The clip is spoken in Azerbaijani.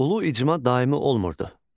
Ulu icma daimi olmurdu.